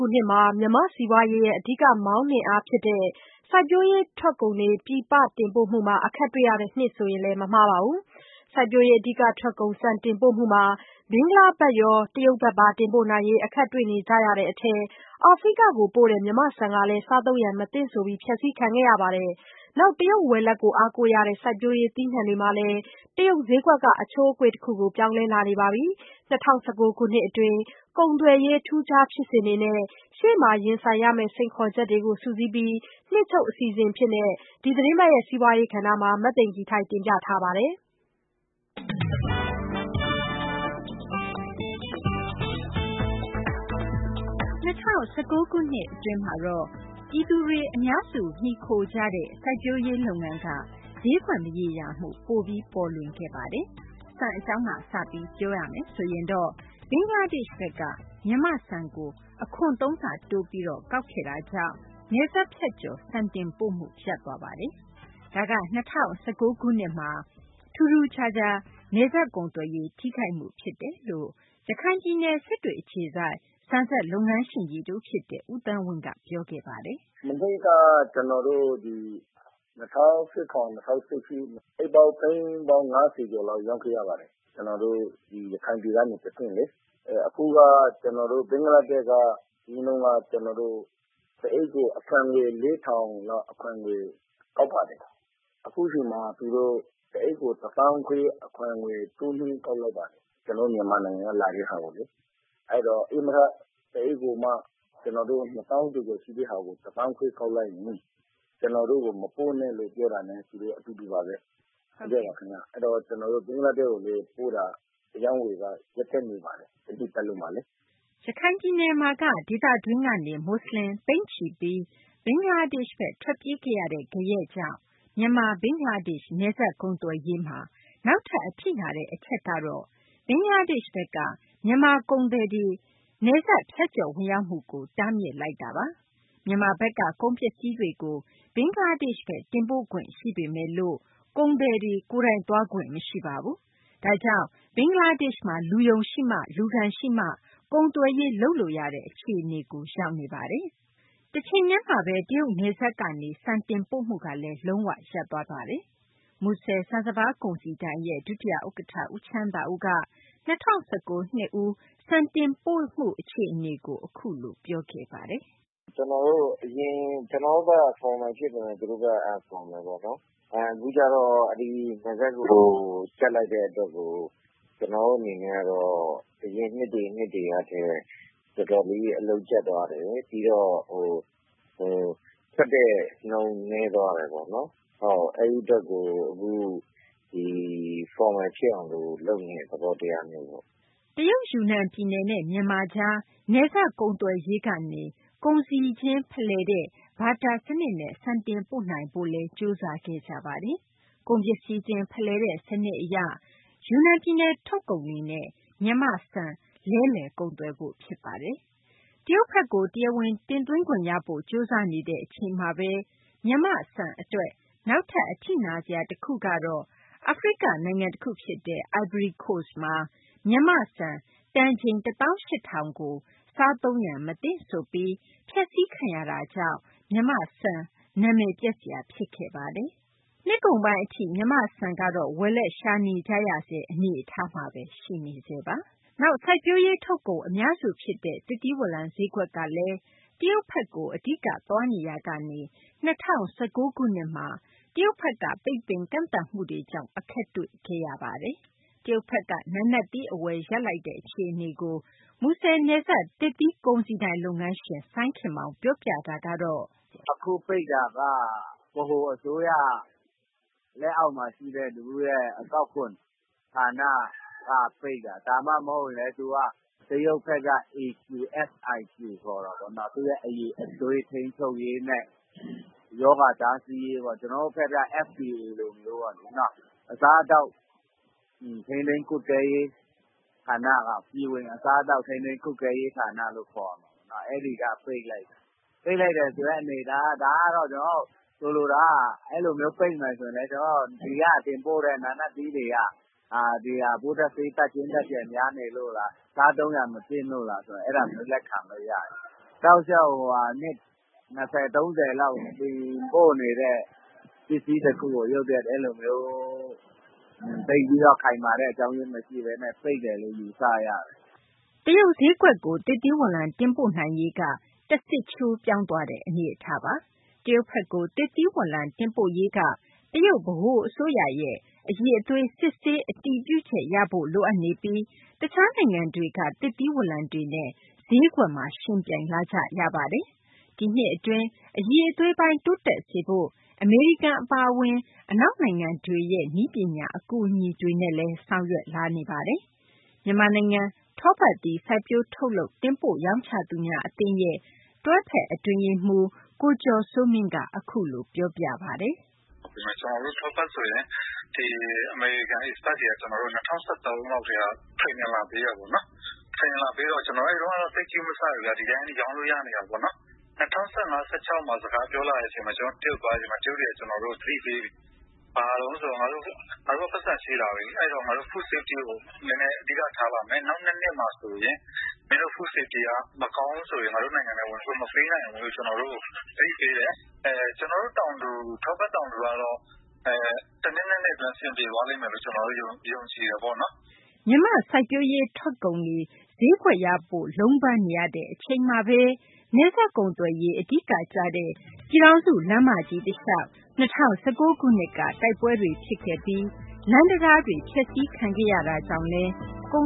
ုနှစ်မှာ မြန်မာ့ စီးပွားရေးရဲ့ အဓိက မောင်းနှင်အား ဖြစ်တဲ့ စိုက်ပျိုးရေး ထွက်ကုန်တွေ ပြည်ပ တင်ပို့မှုမှာ အခက်တွေ့ရတဲ့နှစ်ဆိုရင် မမှားပါဘူး။ စိုက်ပျိုးရေး အဓိက ထွက်ကုန် ဆန်တင်ပို့မှုမှာ ဘင်္ဂလားဘက်ရော တရုတ်ဘက်ပါ တင်ပို့နိုင်ရေး အခက်တွေ့ကြရတဲ့ အထဲ အာဖရိက ကိုပို့တဲ့ မြန်မာ့ ဆန်ကလည်း စားသုံးရန် မသင့်ဆိုပြီး ဖျက်စီးခံခဲ့ရပါတယ်။ နောက် တရုတ် ဝယ်လက်ကို အားကိုးရတဲ့ စိုက်ပျိုးရေး သီးနှံတွေမှာလည်း တရုတ် ဈေးကွက်က အချိုးအကွေ့တခုကို ပြောင်းလဲလာနေပါပြီ။ ၂၀၁၉ ခုနှစ် အတွင်း ကုန်သွယ်ရေး ထူးခြားဖြစ်စဉ်တွေနဲ့ ရှေ့မှာ ရင်ဆိုင်ရမယ့် စိန်ခေါ်ချက်တွေကို စုစည်းပြီး နှစ်ချုပ် အစီအစဉ် အဖြစ် အပတ်စဉ် စီးပွားရေး ကဏ္ဍမှာ မသိင်္ဂ ီထိုက် တင်ပြထားပါတယ်။ ၂၀၁၉ ခုနှစ် အတွင်းမှာတော့ မြန်မာပြည်သူတွေ အများစု မှီခိုနေကြတဲ့ စိုက်ပျိုးရေး လုပ်ငန်းက ဈေးကွက် မရေရာမှု ပိုပြီး ပေါ်လွင်ခဲ့ပါတယ်။ ဆန် အကြောင်းက စပြီး ပြောရမယ်ဆိုရင်တော့ ဘင်္ဂလားဒေရှ့်ဘက်က မြန်မာ့ဆန်ကို အခွန်သုံးဆ တိုးပြီး ကောက်ခဲ့တာကြောင့် နယ်စပ်ဖြတ်ကျော် ဆန်တင်ပို့မှု ရပ်တန့်သွားပါတယ်။ ဒါက ၂၀၁၉ ခုနှစ်မှာ ထူးထူးခြားခြား နယ်စပ် ကုန်သွယ်ရေး ထိခိုက်မှု ဖြစ်တယ်လို့ ရခိုင်ပြည်နယ် စစ်တွေ အခြေစိုက် ဆန်စက်လုပ်ငန်းရှင်ကြီး တဦး ဖြစ်တဲ့ ဦးသန်းဝင်း က အခုလို ပြောပါတယ်။ " မနှစ်က ကျနော်တို့ ဒီ ၂၀၁၇၊ ၂၀၁၈ မှာ အိတ်ပေါင်း သိန်း ၅၀ လောက် ရောင်းခဲ့ရပါတယ်။ ကျနော်တို့ ဒီ ရခိုင်ပြည်ကနေ တဆင့်လေ။ အခုက ဘင်္ဂလားဒေရှ့်က အရင်က တအိတ်ကို အခွန်ငွေ ၄၀၀၀ ကျပ်လောက် ကောက်ပါတယ်။ အခုအချိန်မှာ သူတို့ တအိတ်ကို အခွန်ငွေ ၁၅,၀၀၀ တိုးမြှင့် ကောက်လိုက်ပါတယ်။ ကျနော်တို့ မြန်မာနိုင်ငံက လာတဲ့ဟာကိုလေ။ အဲတော့ ဧည့်မထ တအိတ်ကိုမှ ၂၀,၀၀၀ ကျော်ကျော် ရှိတဲ့ဟာကိုမှ ၁၅,၀၀၀ ကောက်လိုက်ရင် ကျနော်တို့ကို မပို့နဲ့လို့ ပြောတာနဲ့ အတူတူပါဘဲ။ အဲတော့ ကျနော်တို့ ဘင်္ဂလားဒေရှ့်ကို ပို့တာ အရောင်းအဝယ်ကလည်း ရပ်တန့်နေပါတယ်။ တနှစ်ပတ်လုံးမှာလေ။" ရခိုင်ပြည်နယ်မှာက ဒေသတွင်းကနေ မူဆလင် သိန်းနဲ့ချီပြီး ဘင်္ဂလားဒေရှ့်ဘက် ထွက်ပြေးခဲ့ရတဲ့ ဂယက်ကြောင့် မြန်မာ ဘင်္ဂလားဒေရှ့် နယ်စပ် ကုန်သွယ်ရေးမှာ နောက်ထပ် အထိနာတဲ့ အချက်ကတော့ ဘင်္ဂလားဒေရှ့်ဘက်က မြန်မာ ကုန်သည်တွေ ဝင်ရောက်မှုကို တားမြစ်လိုက်တဲ့ အချက်ပါ။ မြန်မာဘက်က ကုန်ပစ္စည်းတွေကို ဘင်္ဂလားဒေရှ့်ဘက် တင်ပို့ခွင့် ရှိပေမယ်လို့ ကုန်သည်တွေ ကိုယ်တိုင်သွားခွင့် မရှိပါဘူး။ ဒါကြောင့် ဘင်္ဂလားဒေရှ့်မှာ လူယုံ ရှိမှာ လူခံရှိမှ ကုန်သွယ်ရေး လုပ်လို့ရတဲ့ အခြေအနေကို ရောက်နေပါတယ်။ တချိန်တည်းမှာဘဲ တရုတ်နယ်စပ်ကနေ ဆန်တင်ပို့မှုကလည်း လုံး၀ ရပ်သွားခဲ့ပြန်ပါတယ်။ မူဆယ် ဆန်စပါးကုန်စည်ဒိုင် ဒုတိယ ဥက္ကဌ ဦးချမ်းသာဦးက ၂၀၁၉ နှစ်ဦး ဆန်တင်ပို့မှု အခြေအနေကို အခုလို ပြောခဲ့တာပါ။ " ကျနော်တို့ဘက်က အရင် ကျနော်တို့ဘက်က Formal ဖြစ်ပေမယ့် သူတို့ဘက်က Unfromal ပေါ့နော်။ အခုကျတော့ နယ်စပ်ကို ကြပ်လိုက်တဲ့ အတွက်ကို ကျနော်တို့ အနေနဲ့ကတော့ အရင်နှစ်တွေ နှစ်တွေကထက် တော်တော်လေး အလုပ်ကြပ်သွားတယ်။ ပြီးတော့ ထွက်တဲ့နှုန်း နည်းသွားတယ်ပေါ့နော်။ အဲဒီ အတွက်ကို အခု Formal ဖြစ်အောင် လုပ်နေတဲ့ သဘောတရားမျိုးပေါ့။" တရုတ် ယူနန် ပြည်နယ်နဲ့ မြန်မာကြား နယ်စပ် ကုန်သွယ်ရေးကနေ ကုန်ပစ္စည်းချင်း ဖလှယ်တဲ့ ဘာတာ စနစ်နဲ့ ဆန်တင်ပို့နိုင်ဖို့လည်း ကြိုးစားခဲ့ကြပါတယ်။ ကုန်ပစ္စည်းချင်း ဖလှယ်တဲ့ စနစ် အရ ယူနန် ပြည်နယ်ထုတ်ကုန်တွေနဲ့ မြန်မာ့ ဆန်နဲ့ လဲလှယ်ကုန်သွယ်ဖို့ ဖြစ်ပါတယ်။ တရုတ်ဘက်ကို တရားဝင် တင်သွင်းခွင့်ရဖို့ ကြိုးစားနေတဲ့ အချိန်မှာဘဲ မြန်မာ့ ဆန် အတွက် နောက်ထပ် အထိနာစရာ တခုကတော့ အာဖရိက နိုင်ငံတခု ဖြစ်တဲ့ အိုင်ဗရီကိုစ့်မှာ မြန်မာ့ဆန် တန်ချိန် ၁၈,၀၀၀ ကို စားသုံးရန် မသင့်ဆိုပြီး ဖျက်စီးခံရ တာကြောင့် မြန်မာ့ဆန် နာမည်ပျက်စရာ ဖြစ်ခဲ့ရပါတယ်။ နှစ်ကုန်ပိုင်း အထိ မြန်မာ့ ဆန်ကတော့ ဝယ်လက် ရှာနေကြရဆဲ အနေအထားမှာ ရှိနေဆဲပါ။ နောက် စိုက်ပျိုးရေး ထုတ်ကုန် အများစု ဖြစ်တဲ့ သစ်သီး ဝလံ ဈေးကွက်ကလည်း တရုတ်ဘက်ကို အဓိက သွားနေရာကနေ ၂၀၁၉ ခုနှစ်မှာ တရုတ်ဘက်က ပိတ်ပင်ကန့်သတ်မှုတွေကြောင့် အခက်တွေ့ခဲ့ရပါတယ်။ တရုတ်ဘက်က နာနတ်သီး အဝယ် ရပ်လိုက်တဲ့ အခြေအနေကို မူဆယ် နယ်စပ် သစ်သီး ကုန်စည်ဒိုင် လုပ်ငန်းရှင် စိုင်းခင်မောင် ပြောပြတာကတော့ “ အခု ပိတ်တာက ဗဟိုအစိုးရ လက်အောက်မှာ ရှိတဲ့ သူတို့ရဲ့ အကောက်ခွန် ဌာနက ပိတ်တာ၊ ဒါမှမဟုတ်ရင်လည်း သူက ဘာခေါ်လဲ ဆိုတော့ တရုတ်ဘက်က AQSIQ ခေါ်တာပေါ့။ သူ့ရဲ့ အရည်အသွေး ထိန်းချုပ်ရေးနဲ့ နောက်ပြီးတော့ ရောဂါတားဆီးရေးပေါ့။ ကျနော်တို့ဘက်က FDA လိုမျိုးပေါ့နော်။ အစားအသောက် ထိန်းသိမ်း ကွပ်ကဲရေး ဌာနက ပြည်ဝင် အစားအသောက် ကွပ်ကဲရေး ဌာနလို့ ခေါ်မှာပေါ့နော်။ အဲဒီက ပိတ်လိုက်တာ။ ပိတ်လိုက်တယ်ဆိုတဲ့ အနေအထားက ဒါကတော့ ကျနော်တို့ ဆိုလိုတာက အဲလိုမျိုး ပိတ်မယ်ဆိုရင်လည်း ဒီက တင်ပို့တဲ့ နာနတ်သီးတွေက ပိုးသတ်ဆေး ဓာတ်ကြွင်း ဓာတ်ကျန် များနေလို့လား၊ စားသုံးရန် မသင့်လို့လား၊ အဲဒါဆို လက်ခံလို့ ရတယ်။ တောက်လျှောက် နှစ် ၂၀၊ ၃၀ လောက် တင်ပို့နေတဲ့ ပစ္စည်းတခုကို ရုတ်တရက် အဲလိုမျိုး သိပ်ပြီးတော့ ခိုင်မာတဲ့ အကြောင်းရင်း မရှိဘဲနဲ့ ပိတ်တယ်လို့ ယူဆရတယ်။” တရုတ်ဈေးကွက်ကို သစ်သီးဝလံ တင်ပို့နိုင်ရေးက တဆစ်ချိုး ပြောင်းသွားတဲ့ အနေအထားပါ။ တရုတ်ဘက်ကို သစ်သီးဝလံ တင်ပို့ရေးက တရုတ် ဗဟို အစိုးရရဲ့ အရည်အသွေး စစ်ဆေးမှု အတည်ပြုချက် ရဖို့ လိုအပ်နေပြီး တခြားနိုင်ငံတွေက သစ်သီးဝလံတွေနဲ့ ဈေးကွက်မှာ ယှဉ်ပြိုင်လာကြရပါတယ်။ ဒီနှစ် အတွင်း အရည်အသွေးပိုင်း တိုးတက်စေဖို့ အမေရိကန် အပါအဝင် အနောက်နိုင်ငံတွေရဲ့ နည်းပညာ အကူအညီတွေနဲ့လည်း ဆောင်ရွက်လာပါတယ်။ မြန်မာနိုင်ငံ ထောပတ်သီး စိုက်ပျိုး ထုတ်လုပ် တင်ပို့ ရောင်းချသူများ အသင်းရဲ့ တွဲဖက် အတွင်းရေးမှူး ကိုကျော်စိုးမင်း က အခုလို ပြောပြပါတယ်။ “ ကျနော်တို့ ထောပတ် ဆိုရင် အမေရိကန် Experts တွေက ၂၀၁၃ လောက်ကတည်းက Training လာပေးတယ်ပေါ့နော်။ Training လာပေးတော့ ကျနော်တို့ အဲဒီတုန်းကတော့ သိပ် ဂရုမစိုက်ဘူးဗျ။ ဒီတိုင်း ရောင်းလို့ ရနေတာပေါ့နော်။ ၂၀၁၅၊ ၂၀၁၆ စကားပြောလာတဲ့ အချိန်မှာ ကျနော်တို့ တရုတ် သွားတဲ့ အချိန်မှာ တရုတ်တွေက ကျနော်တို့ကို သတိပေးတယ်။ ဘာတုန်း ဆိုတော့ ငါတို့ ပိုက်ဆံ ရှိလာပြီ။ ငါတို့ Food Safety ကို နည်းနည်း အဓိက ထားလာမယ်။ နောက်နှစ်မှာ ဆိုရင် မင်းတို့ Food Safety က မကောင်းဘူးဆိုရင် ငါတို့ နိုင်ငံထဲ ဝင်ခွင့် မပေးနိုင်ဘူးလို့ ကျနော်တို့ကို သတိပေးတယ်။ ကျနော်တို့ တောင်သူ ထောပတ် တောင်သူကတော့ တနှစ် ၂ နှစ် အတွင်း အဆင်ပြေသွားလိမ့်မယ်လို့ ကျနော်တို့ ယုံကြည်တယ်ပေါ့နော်။ ” မြန်မာ့ စိုက်ပျိုးရေး ထွက်ကုန်တွေ ဈေးကွက်ရဖု့ိ လုံးပမ်းနေရတဲ့ အချိန်မှာဘဲ နယ်စပ် ကုန်သွယ်ရေး အဓိက ကျတဲ့ ပြည်ထောင်စု လမ်းမကြီး တလျှောက် ၂၀၁၉ ခုနှစ်က တိုက်ပွဲတွေ ဖြစ်ခဲ့ပြီး လမ်းတံတားတွေ ဖျက်စီးခံခဲ့ရတာကြောင့်လည်း ကု